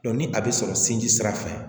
ni a bɛ sɔrɔ sin ji sira fɛ